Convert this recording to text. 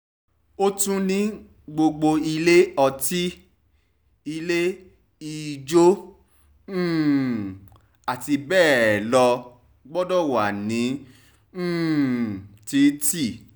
ó tún ní gbogbo ilé ọtí ilé-ijó um àti bẹ́ẹ̀ ló gbọdọ̀ wà ní um títì